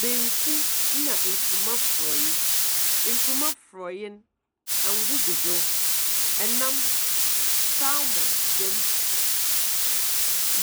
Banku na nkuruma frɔyɛ, nkuruma frɔyɛ no ɛngo gu do, ɛnam salmon dem,